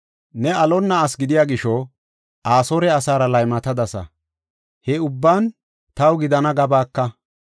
Ne alonna asi gidiya gisho, Asoore asaara laymatadasa. He ubban taw gidana gabaaka.